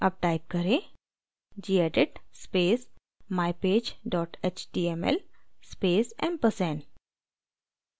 अब type करें: gedit space mypage html space ampersand